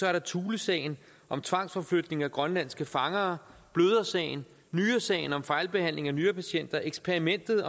er der thulesagen om tvangsforflytning af grønlandske fangere blødersagen nyresagen om fejlbehandling af nyrepatienter eksperimentet